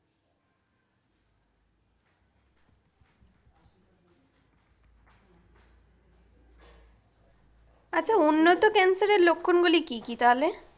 আচ্ছা উন্নত cancer এর লক্ষণগুলো কি কি তাহলে?